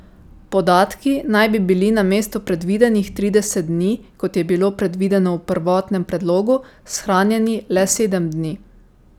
Podatki naj bi bili namesto predvidenih trideset dni, kot je bilo predvideno v prvotnem predlogu, shranjeni le sedem dni.